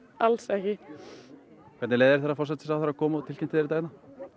alls ekki hvernig leið þér þegar forsætisráðherra kom og tilkynnti þér þetta